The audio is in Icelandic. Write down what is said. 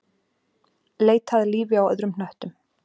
Leita að lífi á öðrum hnöttum